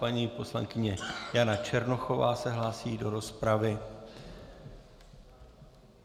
Paní poslankyně Jana Černochová se hlásí do rozpravy.